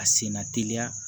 A senna teliya